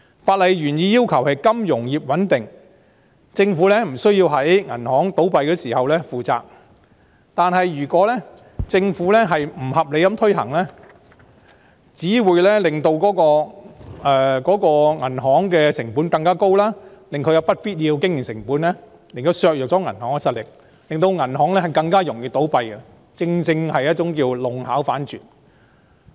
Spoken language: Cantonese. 法例原意是謀求金融業穩定，政府不需要在銀行倒閉時負上責任，但如果政府不合理地推行，只會令銀行成本更高，增加不必要的經營成本，削弱了銀行實力，令銀行更容易倒閉，弄巧反拙。